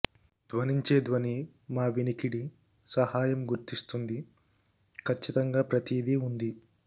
ధ్వనించే ధ్వని మా వినికిడి సహాయం గుర్తిస్తుంది ఖచ్చితంగా ప్రతిదీ ఉంది